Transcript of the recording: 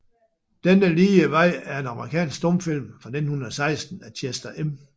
Den lige vej er en amerikansk stumfilm fra 1916 af Chester M